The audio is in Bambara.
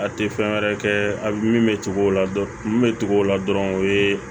A tɛ fɛn wɛrɛ kɛ a min bɛ tugu o la dɔn min bɛ tugu o la dɔrɔn o ye